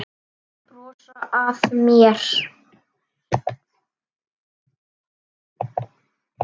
Brosa að mér!